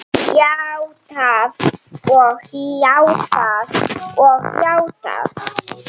Játað og játað og játað.